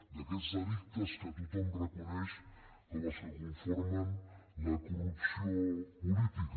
d’aquests delictes que tothom reconeix com els que conformen la corrupció política